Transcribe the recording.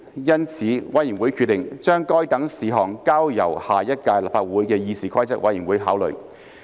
因此，委員會決定將該等事項交由下一屆立法會的議事規則委員會考慮。